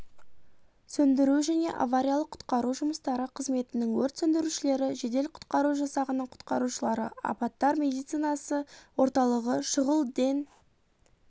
сөндіру және авариялық-құтқару жұмыстары қызметінің өрт сөндірушілері жедел-құтқару жасағының құтқарушылары апаттар медицинасы орталығы шұғыл ден